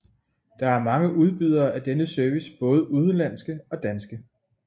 Der er mange udbydere af denne service både udenlandske og danske